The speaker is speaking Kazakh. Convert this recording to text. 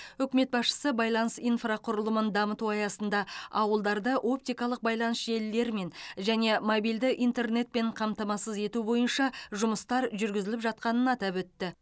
үкімет басшысы байланыс инфрақұрылымын дамыту аясында ауылдарды оптикалық байланыс желілерімен және мобильді интернетпен қамтамасыз ету бойынша жұмыстар жүргізіліп жатқанын атап өтті